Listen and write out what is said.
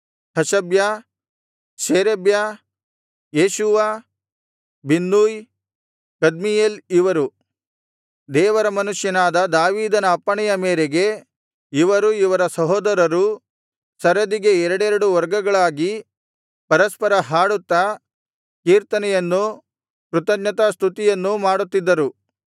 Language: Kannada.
ಹಷಬ್ಯ ಶೇರೇಬ್ಯ ಯೇಷೂವ ಬಿನ್ನೂಯ್ ಕದ್ಮೀಯೇಲ್ ಇವರು ದೇವರ ಮನುಷ್ಯನಾದ ದಾವೀದನ ಅಪ್ಪಣೆಯ ಮೇರೆಗೆ ಇವರೂ ಇವರ ಸಹೋದರರೂ ಸರದಿಗೆ ಎರಡೆರಡು ವರ್ಗಗಳಾಗಿ ಪರಸ್ಪರ ಹಾಡುತ್ತಾ ಕೀರ್ತನೆಯನ್ನೂ ಕೃತಜ್ಞತಾಸ್ತುತಿಯನ್ನೂ ಮಾಡುತ್ತಿದ್ದರು